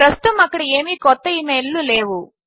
ప్రస్తుతము అక్కడ ఏమీ క్రొత్త ఈ మెయిల్ లు లేవు